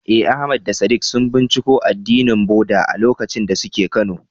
Eh, Ahmad da Sadiq sun binciko addinin Buddah a lokacin da suke Kano.